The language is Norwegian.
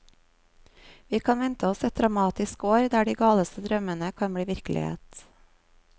Vi kan vente oss et dramatisk år der de galeste drømmene kan bli virkelighet.